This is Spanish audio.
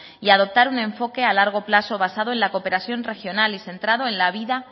y adoptar un enfoque a largo plazo basado en la cooperación regional y centrado en la vida